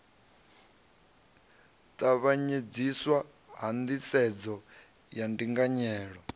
tavhanyedziswa ha nḓisedzo ya ndinganyelo